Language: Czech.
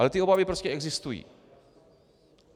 Ale ty obavy prostě existují.